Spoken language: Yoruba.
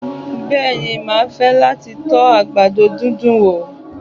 Bẹ́ẹ̀ni, mà á fẹ́ láti to àgbàdo dídùn wo